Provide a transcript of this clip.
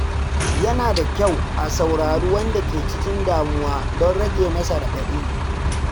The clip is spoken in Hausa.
Yana da kyau a saurari wanda ke cikin damuwa don rage masa raɗaɗi.